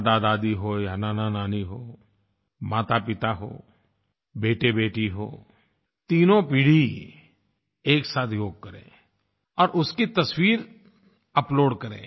दादादादी हो या नानानानी हो मातापिता हो बेटेबेटी हो तीनों पीढ़ी एक साथ योग करें और उसकी तस्वीर अपलोड करें